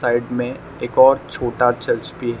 Side में एक और छोटा चर्च भी है।